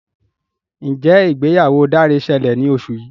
Njé ìgbéyàwó Dare ṣẹlẹ ní oṣù yí.